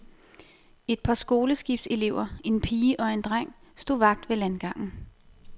Et par skoleskibselever, en pige og en dreng, stod vagt ved landgangen.